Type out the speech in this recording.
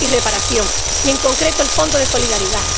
Y reparación en concreto, el Fondo de solidaridad.